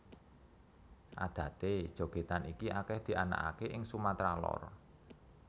Adaté jogètan iki akèh dianakaké ing Sumatra Lor